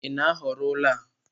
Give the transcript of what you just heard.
Ị na-ahọrọ ụlọ a?